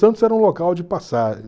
Santos era um local de passagem.